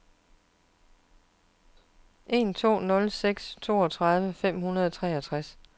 tre to nul seks toogtredive fem hundrede og treogtres